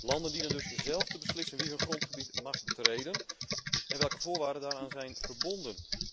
Landen dienen dus zelf te beslissen wie hun grondgebied mag betreden en welke voorwaarden daaraan zijn verbonden.